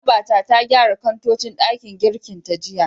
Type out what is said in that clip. Babata ta gyara kantocin ɗakin girkin ta jiya.